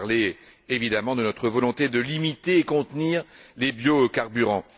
Je veux parler, évidemment, de notre volonté de limiter et de contenir les biocarburants.